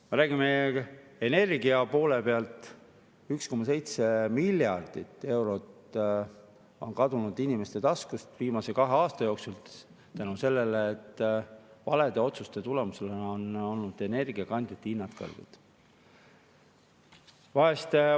Me räägime, et energia poole pealt on 1,7 miljardit eurot kadunud inimeste taskust viimase kahe aasta jooksul selle tõttu, et valede otsuste tulemusena on energiakandjate hinnad kõrged olnud.